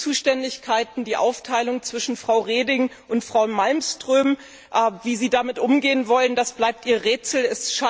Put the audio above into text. Die Aufteilung zwischen Frau Reding und Frau Malmström wie Sie damit umgehen wollen, das bleibt Ihr Geheimnis.